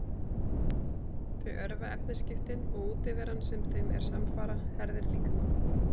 Þau örva efnaskiptin og útiveran sem þeim er samfara herðir líkamann.